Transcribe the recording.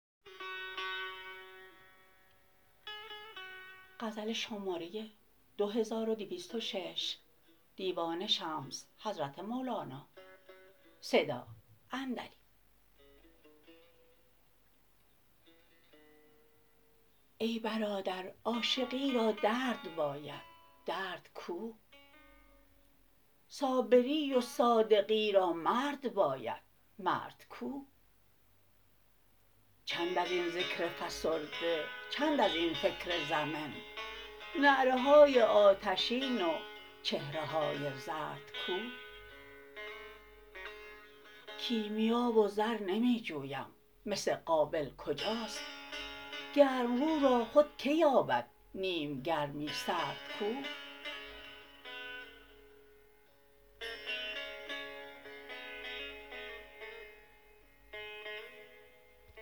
ای برادر عاشقی را درد باید درد کو صابری و صادقی را مرد باید مرد کو چند از این ذکر فسرده چند از این فکر زمن نعره های آتشین و چهره های زرد کو کیمیا و زر نمی جویم مس قابل کجاست گرم رو را خود کی یابد نیم گرمی سرد کو